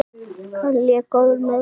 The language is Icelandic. Hann lék áður með Val.